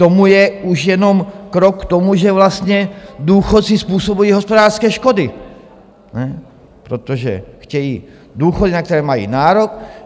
To je už jenom krok k tomu, že vlastně důchodci způsobují hospodářské škody, protože chtějí důchody, na které mají nárok.